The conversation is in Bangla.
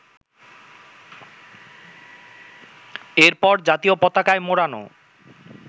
এরপর জাতীয় পতাকায় মোড়ানো